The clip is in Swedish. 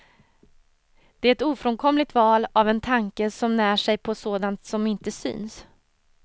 Det är ett ofrånkomligt val av en tanke som när sig på sådant som inte syns.